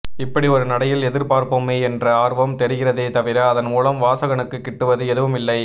இப்படி ஒரு நடையில் எழுதிப்பார்ப்போமே என்ற ஆர்வம் தெரிகிறதே தவிர அதன் மூலம் வாசகனுக்கு கிட்டுவது எதுவும் இல்லை